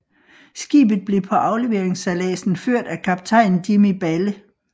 Skibet blev på afleveringsejladsen ført af kaptajn Jimmy Balle